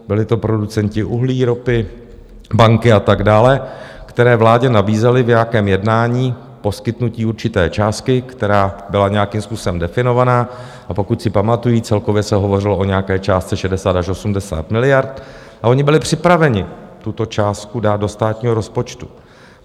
Byly to producenti uhlí, ropy, banky a tak dále, kteří vládě nabízeli v nějakém jednání poskytnutí určité částky, která byla nějakým způsobem definovaná, a pokud si pamatuji, celkově se hovořilo o nějaké částce 60 až 80 miliard, a oni byli připraveni tuto částku dát do státního rozpočtu.